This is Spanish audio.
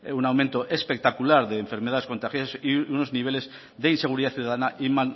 un aumento espectacular de enfermedades contagiosas y unos niveles de inseguridad ciudadana y